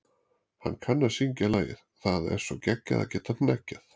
Hann kann að syngja lagið Það er svo geggjað að geta hneggjað.